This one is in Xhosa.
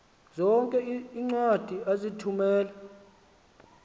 zonke iincwadi ozithumela